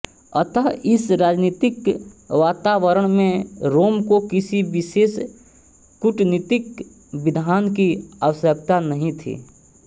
अतः इस राजनीतिक वातावरण में रोम को किसी विशेष कूटनीतिक विधान की आवश्यकता नहीं थी